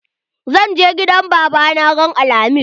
Zan je gidan baba na ran alhamis.